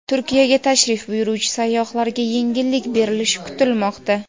Turkiyaga tashrif buyuruvchi sayyohlarga yengillik berilishi kutilmoqda.